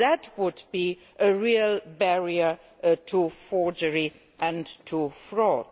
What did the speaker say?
That would be a real barrier to forgery and to fraud.